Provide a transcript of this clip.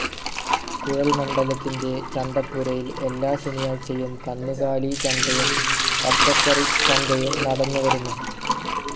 കുഴല്മണ്ഡത്തിലെ ചന്തപ്പുരയിൽ എല്ലാ ശനിയാഴ്ചയും കന്നുകാലി ചന്തയും പച്ചക്കറി ചന്തയും നടന്നു വരുന്നു.